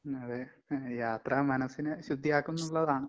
ഉം അതെ. യാത്ര മനസ്സിനെ ശുദ്ധിയാക്കുംന്ന്ള്ളതാണ്.